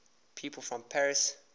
people from paris